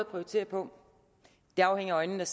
prioritere på det afhænger af øjnene